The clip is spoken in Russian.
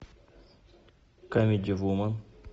камеди вумен